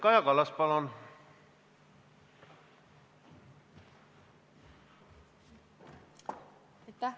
Kaja Kallas, palun!